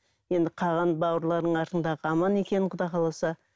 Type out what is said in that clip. енді қалған бауырларың артыңдағы аман екен құда қаласа